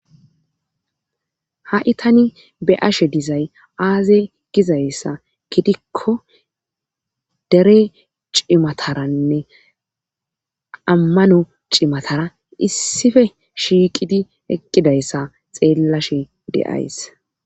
ha'i tani be'ashe dizay aaze gizayssa gidikko dere cimataranne ammano cimatara issife shiiqidi eqqidayssa xeellashe de'ays